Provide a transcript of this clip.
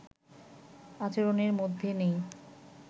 আচরণের মধ্যে নেই